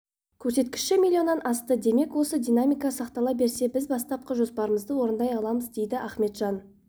көрсеткіші миллионннан асты демек осы динамика сақтала берсе біз бастапқы жоспарымызды орындай аламыз дейді аіметжан